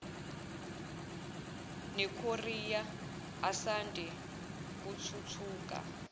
nekorea asanda kuthuthuka